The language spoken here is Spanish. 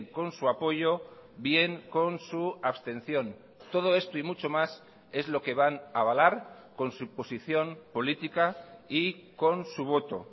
con su apoyo bien con su abstención todo esto y mucho más es lo que van a avalar con su posición política y con su voto